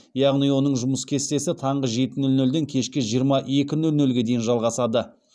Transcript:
яғни оның жұмыс кестесі таңғы жеті нөл нөлден кешкі жиырма екі нөл нөлге дейін жалғасады